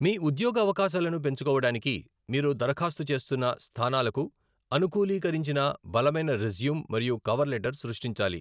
మీ ఉద్యోగ అవకాశాలను పెంచుకోవడానికి, మీరు దరఖాస్తు చేస్తున్న స్థానాలకు అనుకూలీకరించిన బలమైన రెజ్యూం మరియు కవర్ లెటర్ సృష్టించాలి.